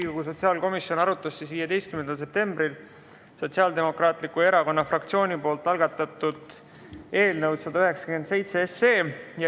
Riigikogu sotsiaalkomisjon arutas 15. septembril Sotsiaaldemokraatliku Erakonna fraktsiooni algatatud eelnõu 197.